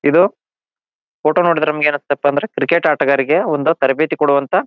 ಇದು ಫೋಟೋ ನೋಡಿದ್ರ ನಮಗ್ ಏನ್ ಅನಸ್ತಾಯಿತಪ್ಪ ಅಂದ್ರ ಕ್ರಿಕೆಟ್ ಆಟ ಗಾರರಿಗೆ ಒಂದು ತರಬೇತಿ ಕೊಡುವಂತಹ--